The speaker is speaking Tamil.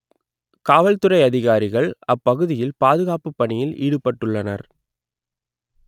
காவல்துறை அதிகாரிகள் அப்பகுதியில் பாதுகாப்பு பணியில் ஈடுபட்டுள்ளனர்